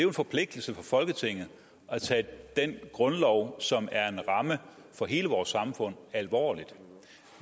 en forpligtelse for folketinget at tage den grundlov som er en ramme for hele vores samfund alvorligt